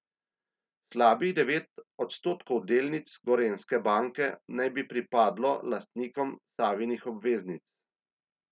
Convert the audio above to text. Slabih devet odstotkov delnic Gorenjske banke naj bi pripadlo lastnikom Savinih obveznic.